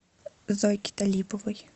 зойке талиповой